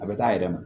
A bɛ taa a yɛrɛ ma